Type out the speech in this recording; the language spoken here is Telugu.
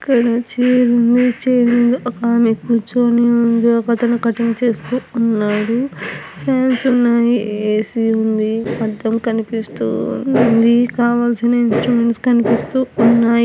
ఇక్కడ చైర్ ఉంది చైర్ మీద ఒక్కమే కుర్చుని ఉంది ఒక్కతను కటింగ్ చేస్తూ ఉన్నాడు టైల్స్ ఉన్నాయి ఏసి ఉందని అద్దంకనిపిస్తుంది కావాల్సిన ఇన్స్ట్రుమెంట్స్ కనిపిస్తు--